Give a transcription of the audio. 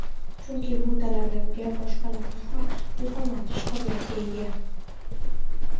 chunki bu talaba boshqalarni ham ilhomlantirish qobiliyatiga ega.